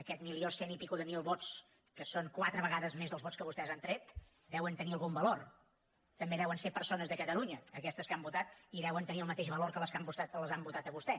aquest milió cent mil vots i escaig que són quatre vegades més dels vots que vostès han tret deuen tenir algun valor també deuen ser persones de catalunya aquestes que han votat i deuen tenir el mateix valor que les que l’han votat a vostè